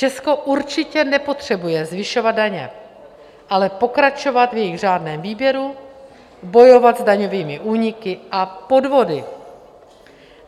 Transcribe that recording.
Česko určitě nepotřebuje zvyšovat daně, ale pokračovat v jejich řádném výběru, bojovat s daňovými úniky a podvody.